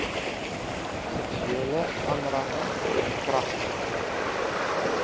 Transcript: seksuele aanranding verkragting